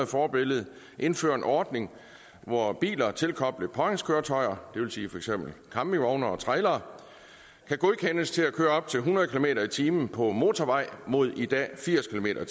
forbillede indfører en ordning hvor biler tilkoblet påhængskøretøjer det vil sige for eksempel campingvogne og trailere kan godkendes til at køre op til hundrede kilometer per time på motorvej mod i dag firs kilometer